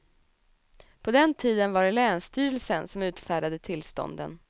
På den tiden var det länsstyrelsen som utfärdade tillstånden.